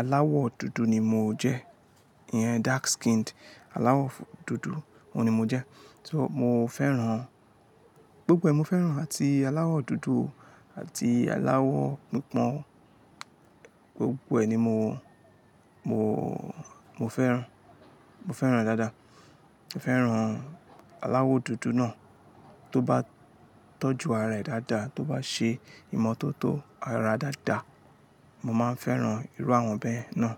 aláwọ̀ dúdú ni mo jẹ́, ìyẹn dark skinned, aláwọ̀ dúdú, òun ni mo jẹ́. So mo fẹ́ràn, gbogbo ẹ, mo fẹ́ràn àti aláwọ̀ dúdú àti aláwọ̀ pipon, gbogbo ẹ ni mo, mo, mo fẹ́ràn, mo fẹ́ràn dáadáa. Mo fẹ́ràn aláwọ̀ dúdú náà, tó bá tọ́jú ara rẹ̀ dáadáa, tó bá ṣe ìmọ́tótó ara dáadáa, mo máa n fẹ́ràn irú àwọn ọmọbìnrin náà.